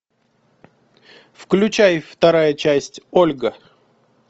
включай вторая часть ольга